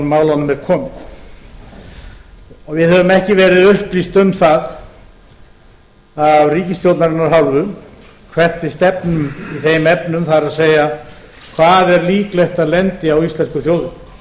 málunum er komið við höfum ekki verið upplýst um það af ríkisstjórnarinnar hálfu hvert við stefnum í þeim efnum það er hvað er líklegt að lendi á íslensku